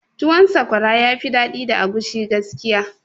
Tuwon sakwara yafi daɗi da agushi gaskiya